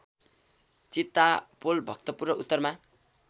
चितापोल भक्तपुर र उत्तरमा